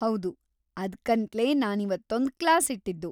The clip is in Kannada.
ಹೌದು, ಅದ್ಕಂತ್ಲೇ ನಾನಿವತ್ತೊಂದ್‌ ಕ್ಲಾಸ್‌ ಇಟ್ಟಿದ್ದು.